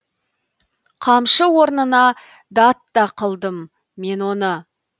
қамшы орнына дат та қылдым мен оны